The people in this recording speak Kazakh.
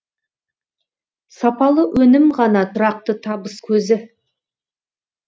сапалы өнім ғана тұрақты табыс көзі